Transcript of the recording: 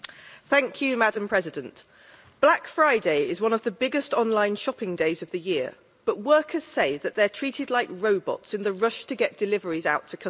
Madam President, black Friday is one of the biggest online shopping days of the year, but workers say that they are treated like robots in the rush to get deliveries out to customers.